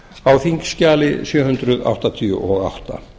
á þingskjali sjö hundruð áttatíu og átta